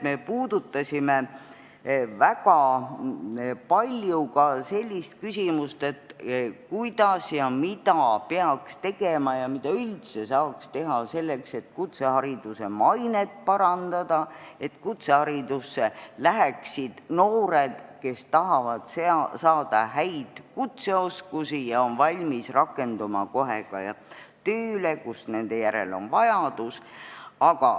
Me puudutasime väga palju ka selliseid küsimusi, kuidas ja mida peaks tegema ning mida üldse saaks teha selleks, et kutsehariduse mainet parandada, et kutseharidusse läheksid noored, kes tahavad saada häid kutseoskusi ja on valmis ka kohe rakenduma tööle, kus nende järele on vajadus.